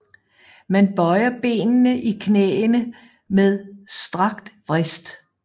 Man bøjer benene i knæene med strakt vrist